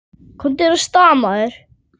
Komdu þér af stað, maður!